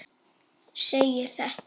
segir þetta